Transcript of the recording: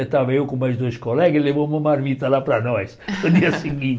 Estava eu com mais dois colegas e ele levou uma marmita lá para nós, no dia